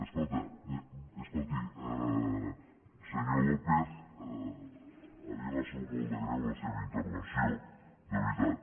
escolti senyor lópez a mi m’ha sabut molt de greu la seva intervenció de veritat